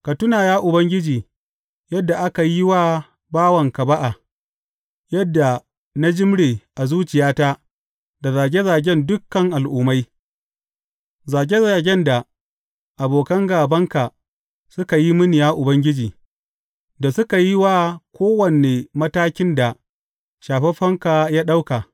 Ka tuna, Ubangiji, yadda aka yi wa bawanka ba’a, yadda na jimre a zuciyata da zage zagen dukan al’ummai, zage zagen da abokan gābanka suka yi mini, ya Ubangiji, da suka yi wa kowane matakin da shafaffenka ya ɗauka.